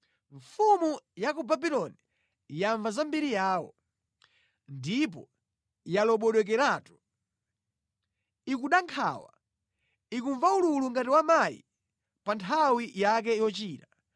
Mfumu ya ku Babuloni yamva za mbiri yawo, ndipo yalobodokeratu. Ikuda nkhawa, ikumva ululu ngati wa mayi pa nthawi yake yochira.